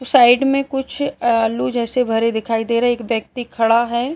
Side में कुछ आलू जैसे भरे दिखाई दे रहे है एक व्यक्ति खडा है।